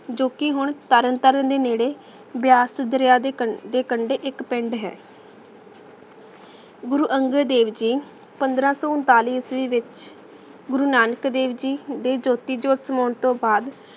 ਜੋ ਕੇ ਹੁਣ ਬਿਆਸ ਦਰਯਾ ਦੇ ਕੰਡੇ ਏਇਕ ਪਿੰਡ ਹੈ ਗੁਰੂ ਅੰਗਦ ਦੇਵ ਜੀ ਪੰਦਰਾਂ ਸੋ ਊਂਤਾਲੀ ਈਸਵੀ ਵਿਚ ਗੁਰੂ ਨਾਨਕ ਦੇਵ ਜੀ ਦੇ ਧਰਤੀ ਵਿਚ ਸਮਾਂ ਤੋਂ ਬਾਅਦ